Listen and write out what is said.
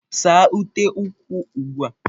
Saa ute ụkwụ ugbu a!